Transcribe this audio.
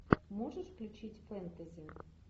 можешь включить фэнтези